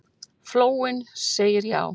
Flóinn segir já